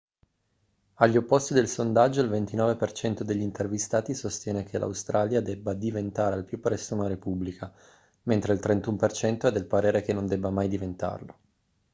agli opposti del sondaggio il 29% degli intervistati sostiene che l'australia debba diventare al più presto una repubblica mentre il 31% è del parere che non debba mai diventarlo